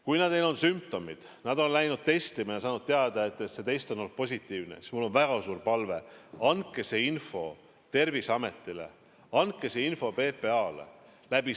Kui teil on sümptomid, te olete käinud testimas ja saanud teada, et test on olnud positiivne, siis mul on väga suur palve: andke see info Terviseametile, andke see info PPA-le.